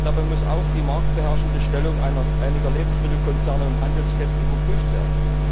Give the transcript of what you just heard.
Dabei muss auch die marktbeherrschende Stellung einiger Lebensmittelkonzerne und Handelsketten überprüft werden.